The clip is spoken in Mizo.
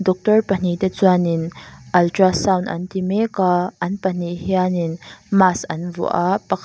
doctor pahnih te chuan in ultra sound an ti mek a an pahnih hian in mask an vuah a pakhat --